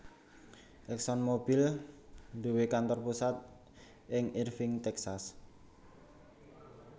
ExxonMobil duwé kantor pusat ing Irving Texas